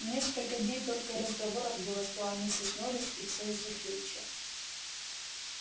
несколько дней только и разговоров было что о миссис норрис и все из-за филча